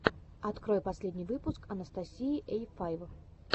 открой последний выпуск анастасии эй файв